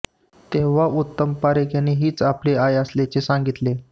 तेव्हा उत्तम पारखे यांनी हीच आपली आई असल्याचे सांगितले